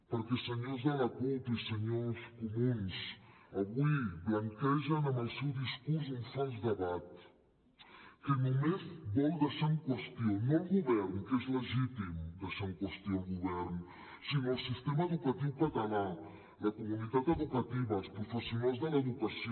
perquè senyors de la cup i senyors comuns avui blanquegen amb el seu discurs un fals debat que només vol deixar en qüestió no el govern que és legítim deixar en qüestió el govern sinó el sistema educatiu català la comunitat educativa els professionals de l’educació